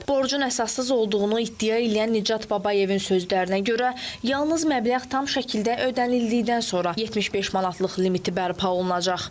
Borcun əsassız olduğunu iddia eləyən Nicat Babayevin sözlərinə görə, yalnız məbləğ tam şəkildə ödənildikdən sonra 75 manatlıq limiti bərpa olunacaq.